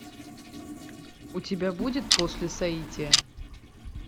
у тебя будет после соития